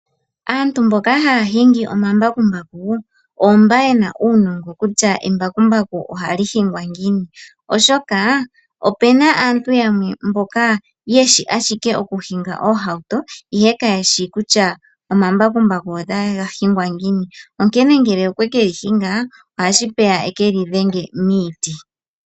Aantu mboka haya hingi omambakumbaku oomba ye na uunongo kutya embakumbaku oha li hingwa ngiini. Oshoka, ope na aantu yamwe yeshi ashike oku hinga oohauto, ihe kayeshi kutya omambakumbaku otaye ga hingi ngiini. Onkene ngele okwe ke li hinga, ohashi peya eke li dhenge miiti.